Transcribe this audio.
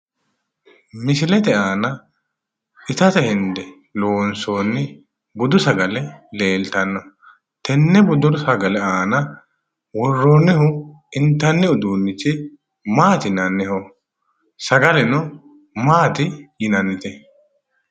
misilete aana itate hende loonsooni budu sagale leeltano. tenne budu sagale aana worroonihu intanni uduunichu maati yinanniho? sagaleno maati yinannite?